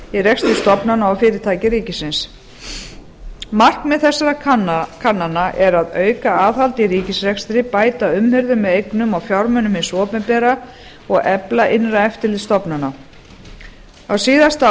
í rekstri stofnana og fyrirtækja ríkisins markmið þessara kannana er að auka aðhald í ríkisrekstri bæta umhirðu með eignum og fjármunum hins opinbera og efla innra eftirlit stofnana á síðasta